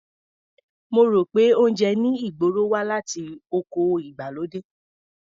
Mo rò pé oúnjẹ ní ìgboro wá láti oko ìgbàlódé.